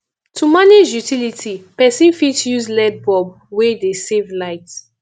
to manage utility person fit use led bulb wey dey save light